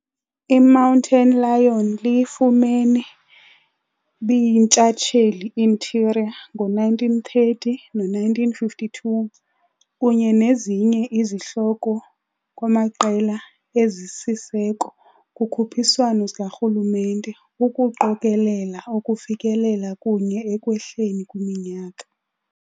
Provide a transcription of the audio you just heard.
I-Mountain Lion liyifumene bi-yintshatsheli Interior, ngo-1930 no-1952, kunye nezinye izihloko kwamaqela ezisisiseko kukhuphiswano zikarhulumente - ukuqokelela ukufikelela kunye ekwehleni kwiminyaka.